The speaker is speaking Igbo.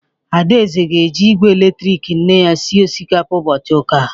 Adaeze ga-eji igwe eletrik nne ya sie osikapa ụbọchị ụka